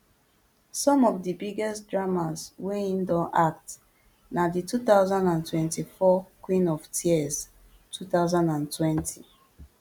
some of di biggest dramas wey im don act na di two thousand and twenty-four queen of tears two thousand and twenty